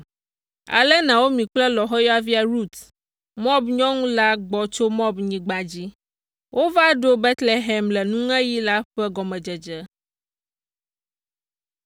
Ale Naomi kple lɔ̃xoyɔvia Rut, Moab nyɔnu la gbɔ tso Moabnyigba dzi. Wova ɖo Betlehem le nuŋeɣi la ƒe gɔmedzedze.